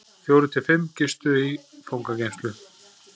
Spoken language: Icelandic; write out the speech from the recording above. Fjórir til fimm gistu fangageymslur